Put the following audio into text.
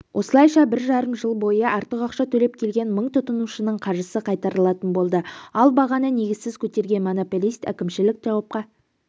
осылайша бір жарым жыл бойы артық ақша төлеп келген мың тұтынушының қаржысы қайтарылатын болды ал бағаны негізсіз көтерген монополист әкімшілік жауапқа